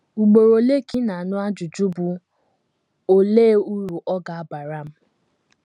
Ugboro ole ka ị na - anụ ajụjụ bụ́, “ Olee uru ọ ga - abara m? ”